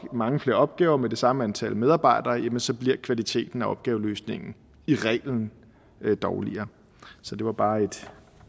mange flere opgaver med det samme antal medarbejdere jamen så bliver kvaliteten af opgaveløsningen i reglen dårligere så det var bare